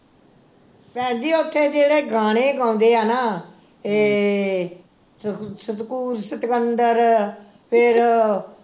ਭੈਣ ਜੀ ਉਥੇ ਜਿਹੜੇ ਗਾਣੇ ਗਾਉਂਦੇ ਆ ਨਾ ਏਹ ਸਤਕੂਤ ਸਿਕੰਦਰ ਫਿਰ